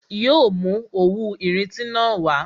Yo mú òwú irinti na wá